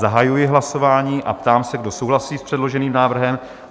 Zahajuji hlasování a ptám se, kdo souhlasí s předloženým návrhem?